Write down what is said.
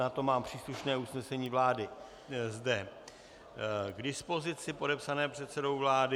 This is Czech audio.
Na to mám příslušné usnesení vlády zde k dispozici, podepsané předsedou vlády.